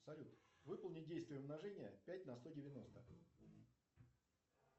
салют выполни действие умножения пять на сто девяносто